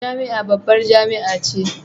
Jami'a babbar jami'a ce